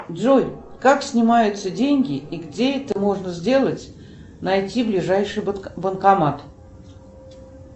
джой как снимаются деньги и где это можно сделать найти ближайший банкомат